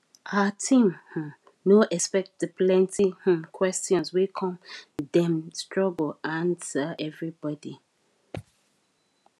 her team um no expect the plenty um questions wey come dem struggle answer everybody